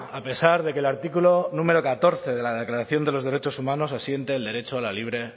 a pesar de que el artículo número catorce de la declaración de los derechos humanos asiente el derecho a la libre